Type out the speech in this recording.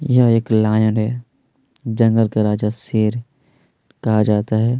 यहाँ एक लॉयन है जंगल का राजा शेर कहाँ जाता है।